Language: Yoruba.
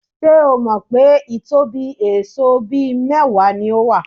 Ṣé o mọ̀ pé ìtóbí èèsó bíi mẹ́wàá ni ó wà?